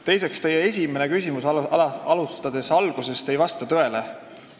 Teiseks, alustades algusest, teie esimese küsimuse eeldus ei vasta tõele.